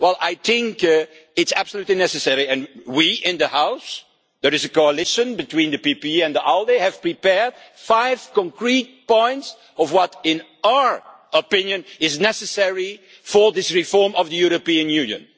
I think it is absolutely necessary, and we in the House the coalition between the PPE and ALDE have prepared five concrete points, which in our opinion are necessary for the reform of the European Union.